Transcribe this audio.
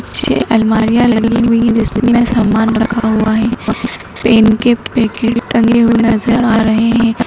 नीचे अलमरिया लगी हुई है जिसमे समान रखा हुआ हैं पंखे टंगे हुए नजर आ रहे है।